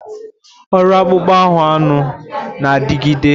Orụ akpụkpọ ahụ anụ na-adịgide.